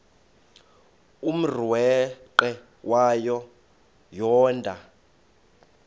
umrweqe wayo yoonda